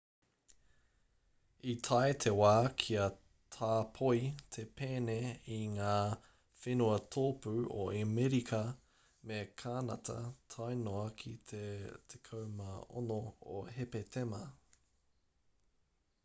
i tae te wā kia tāpoi te pēne i ngā whenua tōpū o amerika me kānata tae noa ki te 16 o hepetema